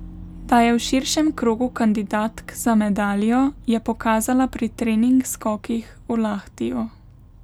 Da je v širšem krogu kandidatk za medaljo, je pokazala pri trening skokih v Lahtiju.